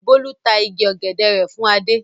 Bólú ta igi ọ̀gẹ̀dẹ̀ rẹ̀ fún Adé.